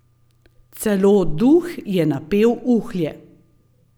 Celo Duh je napel uhlje.